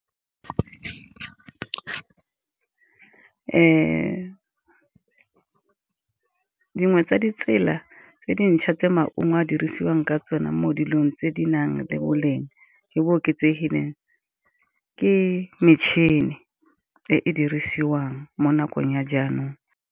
Dingwe tsa ditsela tse dintšha tse maungo a dirisiwang ka tsone mo dilong tse di nang le boleng jo bo oketsegileng, ke metšhini e e dirisiwang mo nakong ya jaanong.